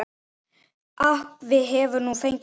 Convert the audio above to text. Afi hefur nú fengið hvíld.